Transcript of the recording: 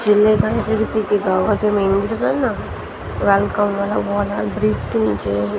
शिवलिंग था ना फिर विसिंकी गांव और जो मेन वाला था ना वेलकम वाला वो वाला ब्रीच के नीचे --